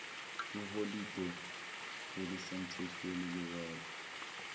iholide elisemthethweni liwela